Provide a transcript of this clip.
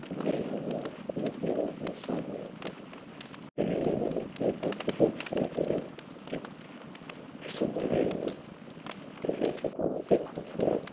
सामने की सुन्दर है यहाँ की खूबसूरत।